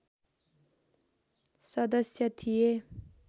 सदश्य थिए